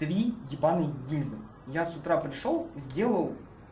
три ебаные гильзы я с утра пришёл сделал